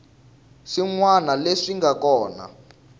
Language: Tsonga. swin wana leswi nga kona